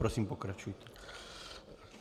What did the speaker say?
Prosím, pokračujte.